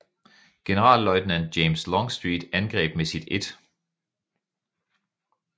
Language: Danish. Generalløjtnant James Longstreet angreb med sit 1